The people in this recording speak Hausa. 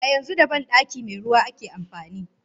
A yanzu da bandaki meruwa ake amfani.